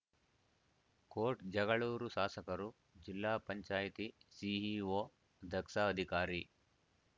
coat Jagalur ಶಾಸಕರು ಜಿಲ್ಲಾ panchayat CEO ದಕ್ಷ ಅಧಿಕಾರಿ